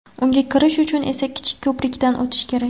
Unga kirish uchun esa kichik ko‘prikdan o‘tish kerak.